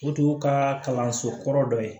O tun y'u ka kalanso kɔrɔ dɔ ye